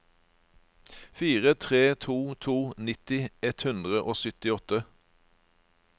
fire tre to to nitti ett hundre og syttiåtte